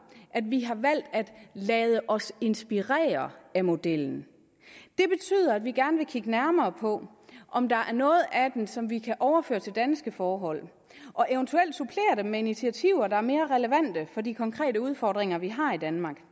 at vi har valgt at lade os inspirere af modellen det betyder at vi gerne vil kigge nærmere på om der er noget af den som vi kan overføre til danske forhold og eventuelt supplere dem med initiativer der er mere relevante for de konkrete udfordringer vi har i danmark